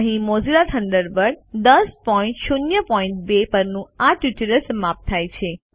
અહીં Mozilla Thunderbird 1002 પરનું આ ટ્યુટોરીયલ સમાપ્ત થાય છે